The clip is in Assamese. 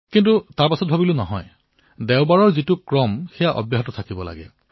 কিন্তু পিছত ভাবিলো নহয় সেই দেওবাৰৰ ক্ৰমটোৱেই থাকক